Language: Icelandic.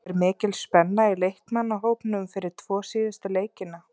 Er mikil spenna í leikmannahópnum fyrir tvo síðustu leikina?